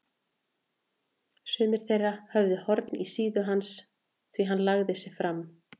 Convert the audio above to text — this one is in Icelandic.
Sumir þeirra höfðu horn í síðu hans því hann lagði sig fram.